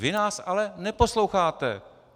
Vy nás ale neposloucháte.